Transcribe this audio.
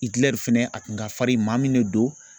Itilɛri fɛnɛ a tun ka farin maa min ne don